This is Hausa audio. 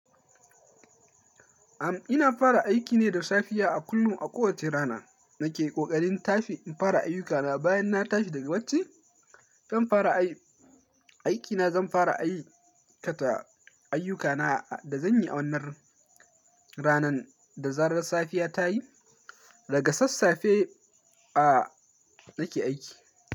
Am, ina fara aiki ne da safiya a kullum, a kowacce rana nake ƙoƙarin tafi in fara ayyukana bayan na tashi daga bacci. Zan fara aiki na zan fara aikata ayyukana da zan yi a wannan ranan da zarar safiya ta yi. Daga sassafe a nake aiki.